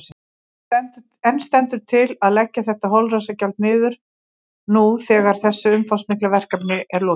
En stendur til að leggja þetta holræsagjald niður nú þegar þessu umfangsmikla verkefni er lokið?